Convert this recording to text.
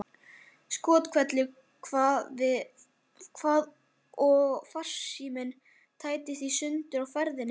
Skothvellur kvað við og farsíminn tættist í sundur á ferðinni.